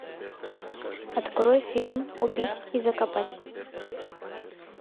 открой фильм убить и закопать